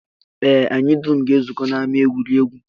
Ee, anyị dum ga-ezukọ n'ama egwuregwu